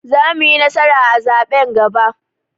Za muyi nasara a zaɓen gaba